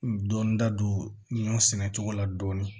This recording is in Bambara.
Dɔnda don ɲɔn sɛnɛ cogo la dɔɔnin